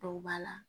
Dɔw b'a la